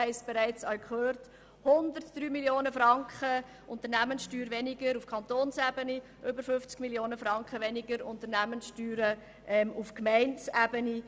Die vom Regierungsrat vorgesehene Steuersenkung ergibt 103 Mio. Franken weniger Unternehmenssteuern auf Kantonsebene und über 50 Mio. Franken weniger bei den Gemeinden.